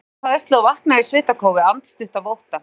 Ég trylltist af hræðslu og vaknaði í svitakófi, andstutt af ótta.